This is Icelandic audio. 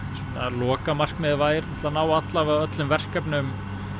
lokaverkefnið væri að ná öllum verkefnum